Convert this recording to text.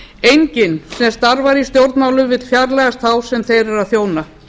enginn sem starfar í stjórnmálum vill fjarlægjast þá sem þeir eru að þjóna